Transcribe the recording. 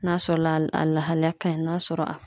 N'a sɔrɔla a lahalaya ka ɲi n'a sɔrɔ a